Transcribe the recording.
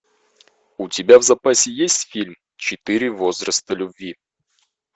у тебя в запасе есть фильм четыре возраста любви